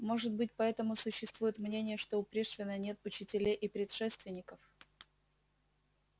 может быть поэтому существует мнение что у пришвина нет учителей и предшественников